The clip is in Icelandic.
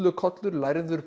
bullukollur lærður